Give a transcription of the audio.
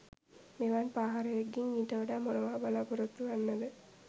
මෙවැනි පාහරයකුගෙන් ඊට වඩා මොනවා බලාපොරොත්තු වෙන්නද